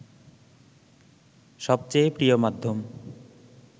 সবচেয়ে প্রিয় মাধ্যম